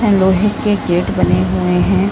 लोहे के गेट बने हुए हैं।